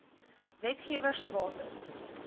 wetgewer se bates